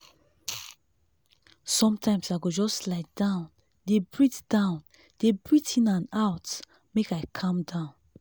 sometimes i go just lie down dey breathe down dey breathe in and out make i calm down.